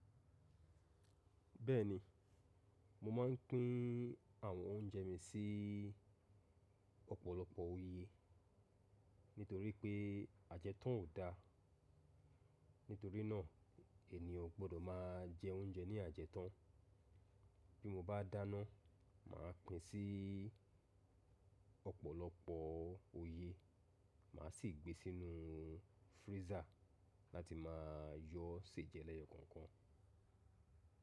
Bẹ́ẹ̀ni, mo máa ń pín àwọn oúnjẹ mi sí ọ̀pọ̀lọpọ̀ òye nítorí pé ajẹ́tán ò da. Nítorí náà ènìyàn ò gbọdọ̀ máa jẹ oúnjẹ ní ajẹ́tán. Bí mo bá dáná, mà á pín sí ọ̀pọ̀lọpọ̀ òye. Mà á sì gbé sínú freezer láti máa yọ́ ṣè jẹ lẹ́yọkọ̀ọ̀kan.